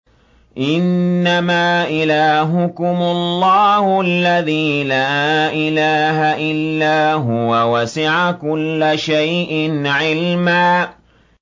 إِنَّمَا إِلَٰهُكُمُ اللَّهُ الَّذِي لَا إِلَٰهَ إِلَّا هُوَ ۚ وَسِعَ كُلَّ شَيْءٍ عِلْمًا